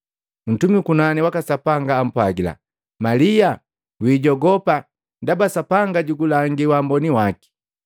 Ntumi ukunani waka Sapanga ampwagila, “Malia, wijogopa! Ndaba Sapanga jugulangi wamboni waki.